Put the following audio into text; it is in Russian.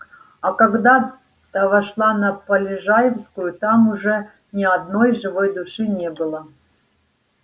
а когда та вошла на полежаевскую там уже ни одной живой души не было